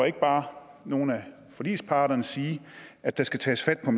ikke bare nogle af forligsparterne sige at der skal tages fat på